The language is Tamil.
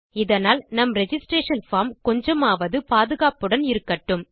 இதனால் நம் ரிஜிஸ்ட்ரேஷன் பார்ம் கொஞ்சமாவது பாதுகாப்புடன் இருக்கட்டும்